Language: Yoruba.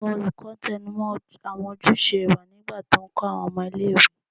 Awọn olukọ tẹnumọ awọn ojuse iwa nigba ti nkọ awọn ọmọ ile-iwe